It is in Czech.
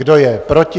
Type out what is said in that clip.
Kdo je proti?